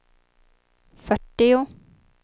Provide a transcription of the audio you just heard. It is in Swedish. fyrtio